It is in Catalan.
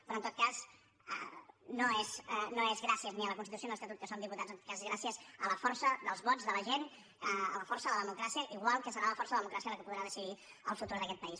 però en tot cas no és gràcies ni a la constitució ni a l’estatut que som diputats en tot cas és gràcies a la força dels vots de la gent a la força de la democràcia igual que serà la força de la democràcia la que podrà decidir el futur d’aquest país